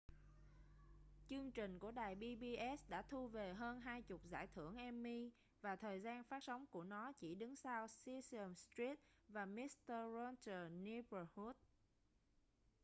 chương trình của đài pbs đã thu về hơn hai chục giải thưởng emmy và thời gian phát sóng của nó chỉ đứng sau sesame street và mister rogers' neighborhood